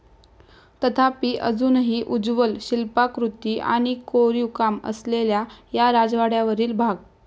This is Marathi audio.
तथापी, अजूनही उज्ज्वल शिल्पाकृती आणि कोरीव काम असलेल्या या राजवाड्यावरील भाग.